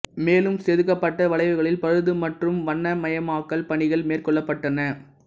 மேலும் செதுக்கப்பட்ட வளைவுகளில் பழுது மற்றும் வண்ணமயமாக்கல் பணிகள் மேற்கொள்ளப்பட்டன